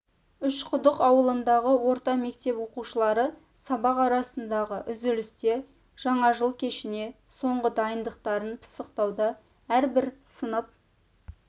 үшқұдық ауылындағы орта мектеп оқушылары сабақ арасындағы үзілісте жаңа жыл кешіне соңғы дайындықтарын пысықтауда әрбір сынып